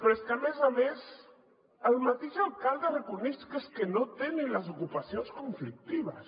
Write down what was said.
però és que a més a més el mateix alcalde reconeix que és que no té ni les ocupacions conflictives